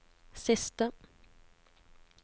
siste